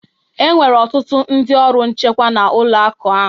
Enwere ọtụtụ ndị ọrụ nchekwa na ụlọ akụ a